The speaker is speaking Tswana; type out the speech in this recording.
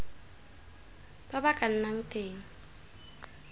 ba ba ka nnang teng